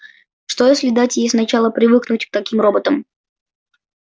что если дать ей сначала привыкнуть к таким роботам